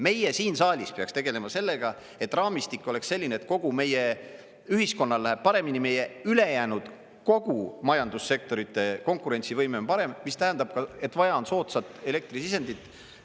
Meie siin saalis peaksime tegelema sellega, et raamistik oleks selline, et kogu meie ühiskonnal läheb paremini, meie ülejäänud kogu majandussektorite konkurentsivõime on parem, mis tähendab, et vaja on soodsat elektrisisendit.